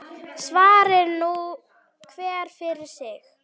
Svari nú hver fyrir sig.